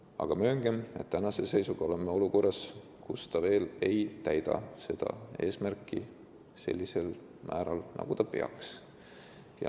Aga mööngem, et praegu oleme olukorras, kus ta veel ei täida seda eesmärki sellisel määral, nagu ta peaks.